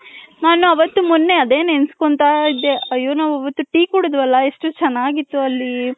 ನನ್ ಅವತ್ಹ್ಹು ಮೊನ್ನೆ ಅದೇ ನೆನ್ಸ್ಕೊಂಡ್ತೈದೆ ಆಯೋ ನಾವ್ ಅವತ್ತು tea ಕುಡದ್ವಲ್ಲ ಎಷ್ಟು ಚೆನ್ನಾಗಿತ್ತು ಅಲ್ಲಿ .